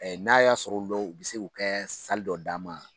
n'a y'a sɔrɔ lɔw u bɛ se kɛ o kɛ dɔ d'an ma.